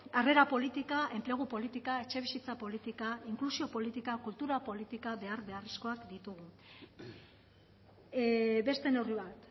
harrera politika enplegu politika etxebizitza politika inklusio politika kultura politika behar beharrezkoak ditugu beste neurri bat